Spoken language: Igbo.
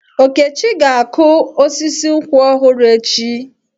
Okechi ga-akụ osisi nkwụ ọhụrụ echi.